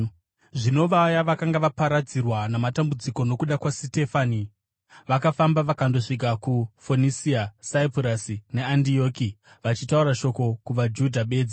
Zvino vaya vakanga vaparadzirwa namatambudziko nokuda kwaSitefani vakafamba vakandosvika kuFonisia, Saipurasi neAndioki, vachitaura shoko kuvaJudha bedzi.